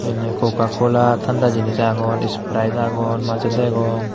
ney kokakola tanda jenis agon sprite agon maza degong.